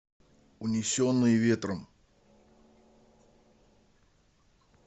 унесенные ветром